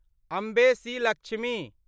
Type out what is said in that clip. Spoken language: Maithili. अम्बे सी. लक्ष्मी